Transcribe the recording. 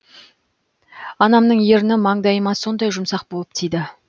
анамның ерні маңдайыма сондай жұмсақ болып тиді